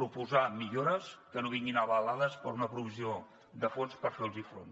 proposar millores que no vinguin avalades per una provisió de fons per fer los hi front